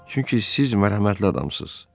Çünki siz mərhəmətli adamsınız.